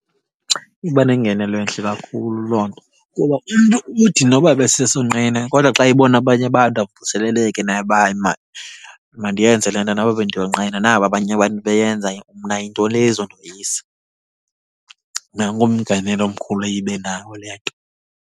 Iba nengenelo entle kakhulu loo nto. Kuba umntu uthi noba ebesesonqena kodwa xa ebona abanye abantu avuseleleke naye uba hayi mani mandiyenze le nto noba bendiyonqena, naba abanye abantu beyenza. Mna yintoni le izondoyisa? Nanko umngenelo omkhulu eye ibe nawo le nto.